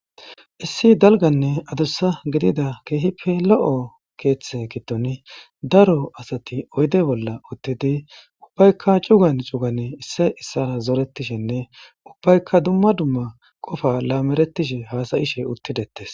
Issi dalga nne adusa gidiza kehippe lo,o ketha gidon daro asati oyide bolla utidi ubayika cu,gan cu,gan zoretishe nne ubayika duma duma qofa lameretishe hasayishe utidetes